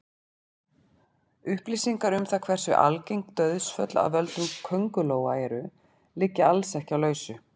Upplýsingar um það hversu algeng dauðsföll af völdum köngulóa eru liggja alls ekki á lausu.